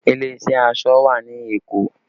Ilé iṣẹ́ aṣọ wà ní Èkó